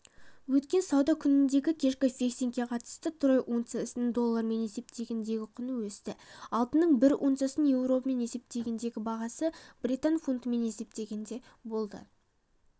өткен сауда күніндегікешкі фиксингке қатысты трой унциясының доллармен есептегендегі құны өсті алтынның бір унциясының еуромен есептегендегі бағасы британ фунтымен есептегенде болды